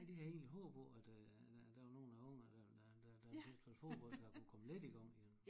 Nej det havde jeg egentlig håbet på at øh at der var nogen af ungerne der der der synes om fodbold så jeg kunne komme lidt i gang igen